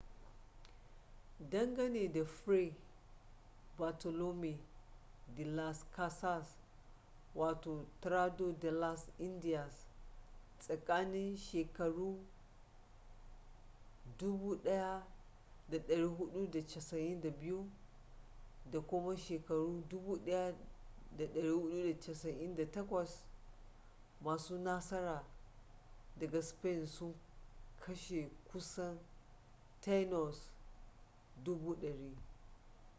dangane da fray bartolomé de las casas tratado de las indias tsakanin 1492 da 1498 masu nasara daga spain sun kashe kusan taínos 100,000